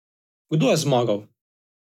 Kdo je zmagal?